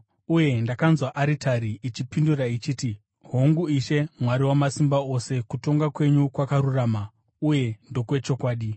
Uye ndakanzwa aritari ichipindura ichiti: “Hongu, Ishe Mwari Wamasimba Ose kutonga kwenyu kwakarurama uye ndokwechokwadi.”